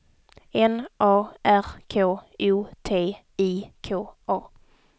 N A R K O T I K A